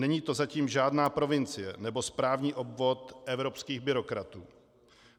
Není to zatím žádná provincie nebo správní obvod evropských byrokratů.